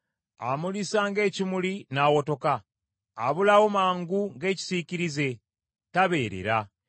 Amulisa ng’ekimuli n’awotoka; abulawo mangu ng’ekisiikirize, tabeerera.